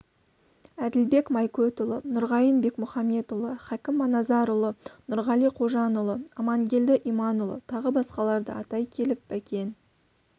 әділбек майкөтұлы нұрғайын бекмұхамбетұлы хәкім маназарұлы нұрғали қожанұлы амангелді иманұлы тағы басқаларды атай келіп бәкен